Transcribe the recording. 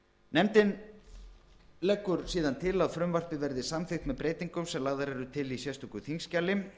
nefndin leggur síðan til að frumvarpið verði samþykkt með breytingum sem lagðar eru til í sérstöku þingskjali